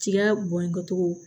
Tiga bɔn cogo